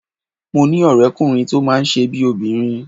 Mo ní ọ̀rẹ́kùnrin tó máa ń ṣe bíi obìnrin